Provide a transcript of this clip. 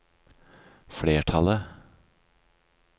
flertallet